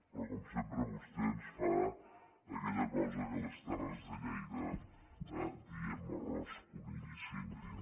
però com sempre vostè ens fa aquella cosa que a les terres de lleida diem arròs conill i síndria